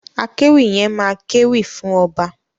Akéwì yẹn máa kéwì fún ọba.